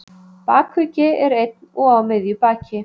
Bakuggi er einn og á miðju baki.